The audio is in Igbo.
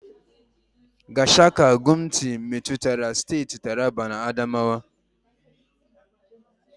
Gashaka-Gumti metụtara steeti Taraba na Adamawa.